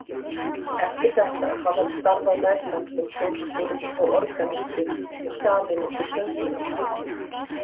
Eftir þetta hafði hann starfað meðfram sem kórstjóri og organisti og samið nokkur sönglög.